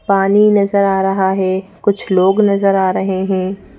पानी नजर आ रहा है कुछ लोग नजर आ रहे हैं।